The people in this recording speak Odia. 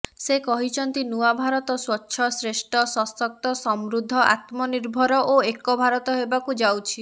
ସେ କହିଛନ୍ତି ନୂଆ ଭାରତ ସ୍ୱଚ୍ଛ ଶ୍ରେଷ୍ଠ ସଶକ୍ତ ସମୃଦ୍ଧ ଆତ୍ମନିର୍ଭର ଓ ଏକ ଭାରତ ହେବାକୁ ଯାଉଛି